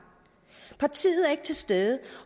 partiet er ikke til stede